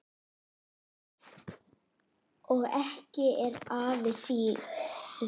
Og ekki er afi síðri.